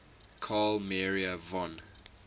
carl maria von